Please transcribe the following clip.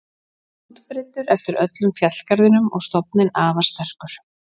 Útbreiddur eftir öllum fjallgarðinum og stofninn afar sterkur.